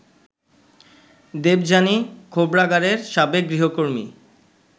দেবযানী খোবরাগাড়ের সাবেক গৃহকর্মী